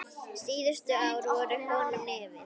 Síðustu ár voru honum erfið.